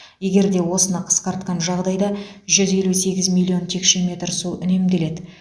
егер де осыны қысқартқан жағдайда жүз елу сегіз миллион текше метр су үнемделеді